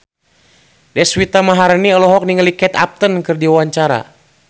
Deswita Maharani olohok ningali Kate Upton keur diwawancara